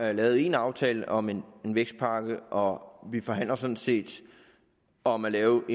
har lavet en aftale om en vækstpakke og vi forhandler sådan set om at lave